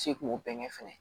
Se k'o bɛn kɛ fɛnɛ